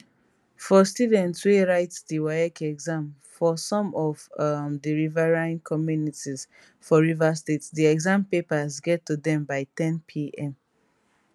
for students wey write di waec exam for some of um di riverine communities for rivers state di exam papers get to dem by 1000pm